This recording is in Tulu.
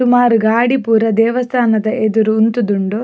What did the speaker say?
ಸುಮಾರ್ ಗಾಡಿ ಪೂರ ದೇವಸ್ಥಾನದ ಎದುರು ಉಂತುದುಂಡು.